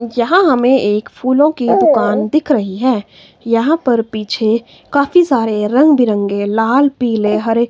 यहां हमें एक फूलों की दुकान दिख रही है। यहां पर पीछे काफी सारे रंगबिरंगे लाल पीले हरे--